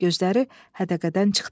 Gözləri hədəqədən çıxdı.